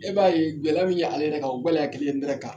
E b'a ye gɛlɛya min ye ale yɛrɛ kan, o gɛlɛya kelen n nɛrɛ kan.